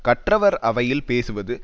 கற்றவர் அவையில் பேசுவது